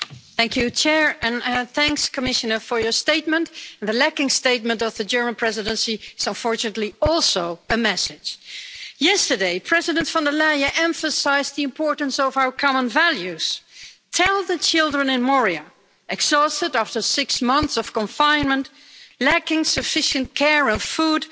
Madam President. I wish to thank the Commissioner for her statement. The lacking statement of the German Presidency is unfortunately also a message. Yesterday, President von der Leyen emphasised the importance of our common values. Tell the children in Moria exhausted after six months of confinement, lacking sufficient care and food,